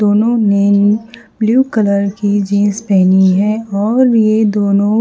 दोनों ने blue colour की जींस पहनी है और ये दोनों--